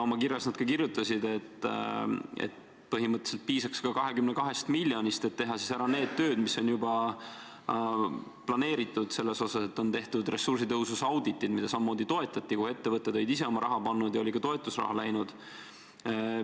Oma kirjas nad kirjutasid, et põhimõtteliselt piisaks 22 miljonist, et teha ära need tööd, mis on juba planeeritud selles mõttes, et on tehtud ressursitõhususe auditid, mida samamoodi toetati, kuhu ettevõtted olid ise oma raha pannud ja kuhu oli ka toetusraha läinud.